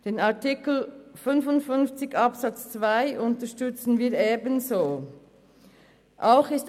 Den Artikel 55 Absatz 2 unterstützen wir ebenfalls.